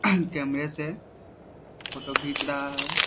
कैमरे से फ़ोटो घीच रहा है ।